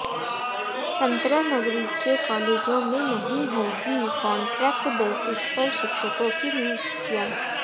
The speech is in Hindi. संतरा नगरी के कॉलेजों में नहीं होगी कांट्रैक्ट बेसिस पर शिक्षकों की नियुक्तियां